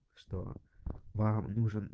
что вам нужен